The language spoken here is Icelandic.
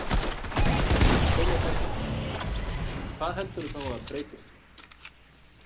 Sólveig Bergmann: Hvað heldurðu þá að breytist?